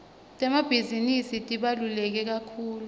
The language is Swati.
temabhizinisi tibalulekekakhulu